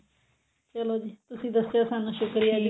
ਚਲੋ ਜੀ ਤੁਸੀਂ ਦੱਸਿਆ ਸ਼ੁਕਰੀਆ ਜੀ